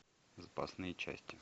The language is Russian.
запасные части